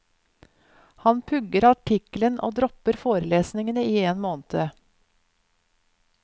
Han pugger artikkelen og dropper forelesningene i en måned.